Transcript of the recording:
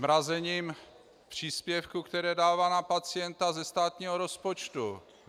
Zmrazením příspěvků, které dává na pacienta ze státního rozpočtu.